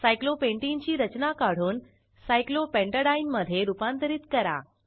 cyclopentane ची रचना काढून सायक्लोपेंटेडीने मधे रूपांतरित करा